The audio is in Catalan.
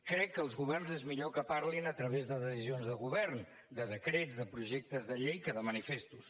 crec que els governs és millor que parlin a través de decisions de govern de decrets de projectes de llei que de manifestos